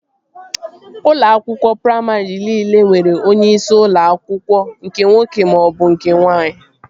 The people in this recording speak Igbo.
Ụlọ akwụkwọ praimarị niile nwere onyeisi ụlọ akwụkwọ nke nwoke maọbụ nke nwaanyị